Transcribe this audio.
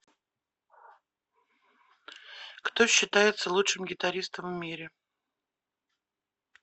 кто считается лучшим гитаристом в мире